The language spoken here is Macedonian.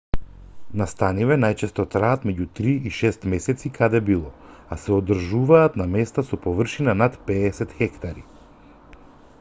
настаниве најчесто траат меѓу три и шест месеци каде било а се одржуваат на места со површина над 50 хектари